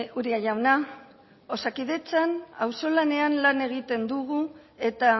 uria jauna osakidetzan auzolanean lan egiten dugu eta